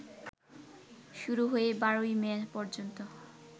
শুরু হয়ে ১২ই মে পর্যন্ত